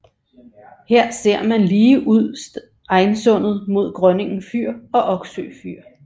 Her ser man lige ud Steinsundet mod Grønningen fyr og Oksø fyr